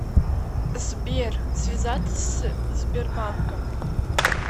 сбер связаться с сбербанком